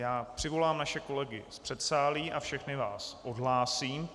Já přivolám naše kolegy z předsálí a všechny vás odhlásím.